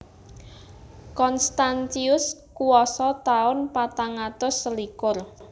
Constantius kuwasa taun patang atus selikur